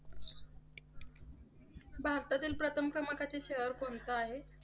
भारतातील प्रथम क्रमांकाचे शहर कोणते आहे?